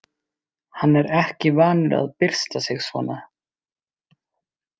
Hann er ekki vanur að byrsta sig svona.